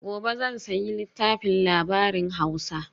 gobe zan sayi littafin labarin hausa